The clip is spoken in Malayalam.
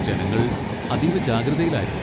ജനങ്ങൾ അതീവ ജാഗ്രതയിലായിരുന്നു.